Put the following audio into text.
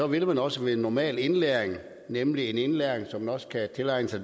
vil man også ved normal indlæring nemlig en indlæring så man også kan tilegne sig